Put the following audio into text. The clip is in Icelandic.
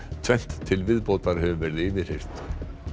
tvennt til viðbótar hefur verið yfirheyrt